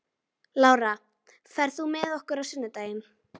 Lára, ferð þú með okkur á sunnudaginn?